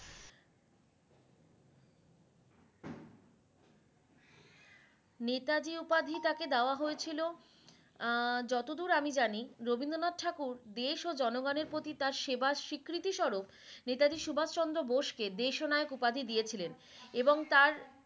নেতাজী উপাধি তাকে দেওয়া হয়েছিলো আহ যতদূর আমি জানি রবিন্দ্রনাথ ঠাকুর দেশ ও জনগণের প্রতি তার সেবার স্বীকৃতি সরূপ নেতাজি সুভাষ চন্দ্র বোসকে দেশ ও নায়ক উপাধি দিয়েছিলেন এবং তার